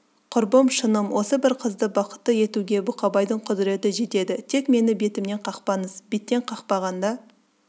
құрбым шыным осы бір қызды бақытты етуге бұқабайдың құдіреті жетеді тек мені бетімнен қақпаңыз беттен қақпағанда